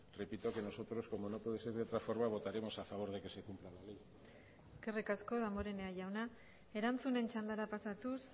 repito que nosotros como no puede ser de otra forma votaremos a favor de que se cumpla la ley eskerrik asko damborenea jauna erantzunen txandara pasatuz